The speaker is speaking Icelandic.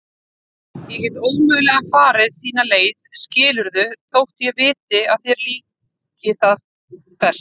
Ég get ómögulega farið þína leið skilurðu þótt ég viti að það líki þér best.